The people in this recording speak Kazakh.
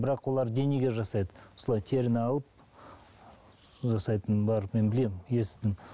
бірақ олар денеге жасайды осылай теріні алып жасайтын бар мен білемін естідім